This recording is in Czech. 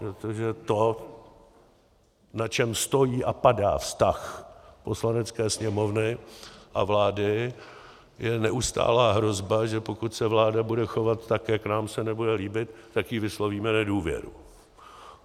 Protože to, na čem stojí a padá vztah Poslanecké sněmovny a vlády, je neustálá hrozba, že pokud se vláda bude chovat tak, jak se nám nebude líbit, tak jí vyslovíme nedůvěru.